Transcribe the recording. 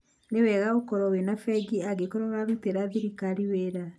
nĩwega ũkorwo wĩna bengi angĩkorwo ũrarutĩra thirikari wĩra